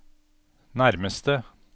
nærmeste